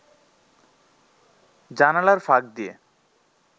জানালার ফাঁক দিয়ে